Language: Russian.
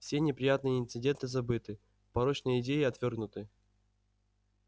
все неприятные инциденты забыты порочные идеи отвёрнуты